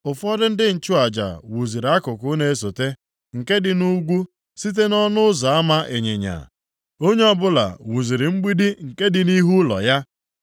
Ụfọdụ ndị nchụaja wuziri akụkụ na-esote, nke dị nʼugwu, site nʼỌnụ Ụzọ Ama Ịnyịnya. Onye ọbụla wuziri mgbidi nke dị nʼihu ụlọ ya.